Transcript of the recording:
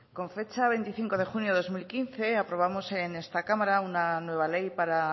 con fecha veinticinco de junio de dos mil quince aprobamos en esta cámara una nueva ley para